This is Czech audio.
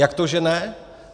Jak to že ne?